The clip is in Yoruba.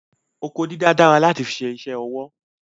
Oko dídá dára láti fi ṣe isẹ́ ọwọ́